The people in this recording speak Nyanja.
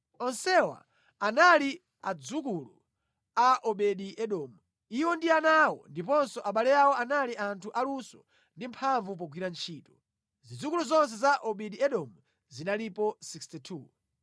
Onsewa anali adzukulu a Obedi-Edomu. Iwo ndi ana awo ndiponso abale awo anali anthu aluso ndi amphamvu pogwira ntchito. Zidzukulu zonse za Obedi-Edomu zinalipo 62.